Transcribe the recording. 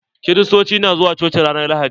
Kiristoci na zuwa coci ran lahadi.